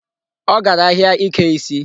Ọ gara ahịa ike isi.